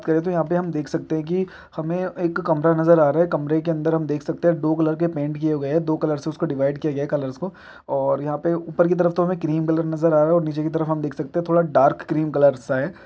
पहले तो यहाँ पे हम देख सकते हैं कि हमे एक कमरा नज़र आ रहा है कमरे के अंदर हम देख सकते है दो कलर के पेंट किए गए हैं दो कलर से उसको डिवाइड किया गया है कलर्स को और यहाँ पे ऊपर की तरफ तो हमें क्रीम कलर नज़र आ रहा है और नीचे की तरफ हम देख सकते है थोड़ा डार्क क्रीम कलर्स सा है।